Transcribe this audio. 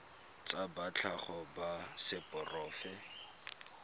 ba tsa tlhago ba seporofe